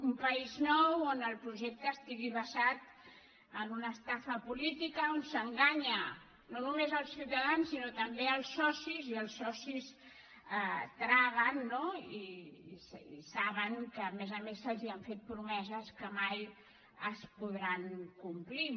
un país nou on el projecte estigui basat en una estafa política on s’enganya no només els ciutadans sinó també els socis i els socis traguen no i saben que a més a més se’ls han fet promeses que mai es podran complir